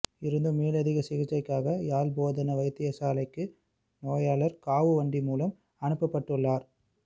இருந்தும் மேலதிக சிகிச்சைக்காக யாழ் போதனா வைத்தியசாலைக்கு நோயாளர் காவுவண்டி மூலம் அனுப்பப்பட்டுள்ளார்